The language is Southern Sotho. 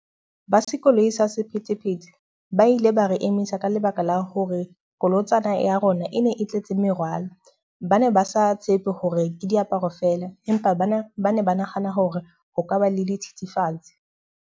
Ba se koloi sa sephethephethe ba ile ba re emisa ka lebaka la hore kolotsana ya rona e ne e tletse merwalo. Ba ne ba sa tshepe hore ke diaparo fela, empa bane ba ne ba nahana hore ho ka ba le dithethefatsi.